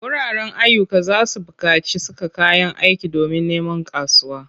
Wuraren ayyuka za su buƙaci saka kayan aiki domin neman kasuwa.